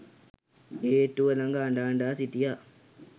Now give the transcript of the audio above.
ගේට්ටුව ලඟ අඬ අඬා සිටියා